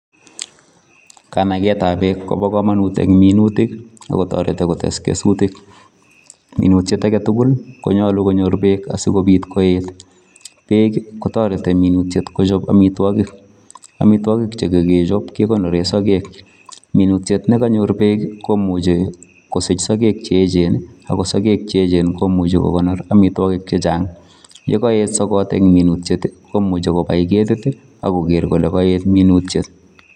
Kanaget ap.peek Eng minutik kotariti mising Eng pitet ap minutik minutik kokararan neea ngendeee minutik